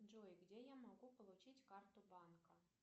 джой где я могу получить карту банка